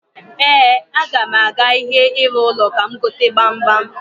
Ee, aga m aga ahịa ihe ịrụ ụlọ ka m gote gbamgbam.